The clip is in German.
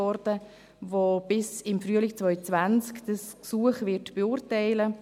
Dieses wird bis im Frühling 2020 das Gesuch beurteilen.